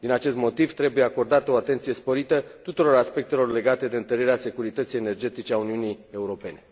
Din acest motiv trebuie acordată o atenție sporită tuturor aspectelor legate de întărirea securității energetice a Uniunii Europene.